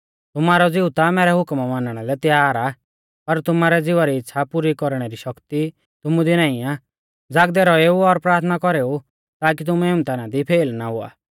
तुमारौ ज़िऊ ता मैरै हुकमा मानणा लै तैयार आ पर तुमारै ज़िवा री इच़्छ़ा पुरी कौरणै री शक्ति तुमु दी नाईं आ ज़ागदै रौएऊ और प्राथना कौरेऊ ताकी तुमै इम्तहाना दी फेल ना हुआ